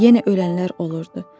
Yenə ölənlər olurdu.